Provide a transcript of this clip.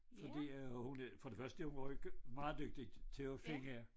Fordi øh hun er for det første hun var meget dygtigt til at finde